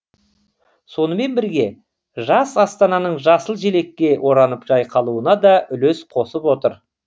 сонымен бірге жас астананың жасыл желекке оранып жайқалуына да үлес қосып отыр